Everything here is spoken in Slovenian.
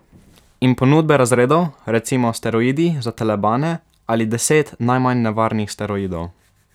In ponudbe razredov, recimo steroidi za telebane ali deset najmanj nevarnih steroidov.